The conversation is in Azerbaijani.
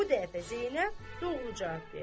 Bu dəfə Zeynəb doğru cavab verdi.